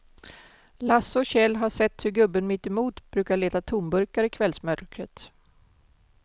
Lasse och Kjell har sett hur gubben mittemot brukar leta tomburkar i kvällsmörkret.